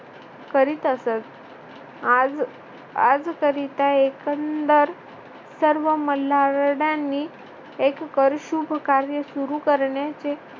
करीत असत आज आज करिता एकंदर सर्व मल्हारड्यानी एक कर शुभ कार्य सुरू करण्याचे